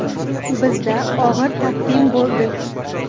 Bizda og‘ir taqvim bo‘ldi.